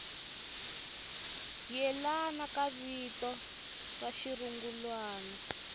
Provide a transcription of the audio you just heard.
yelana ka vito ra xirungulwana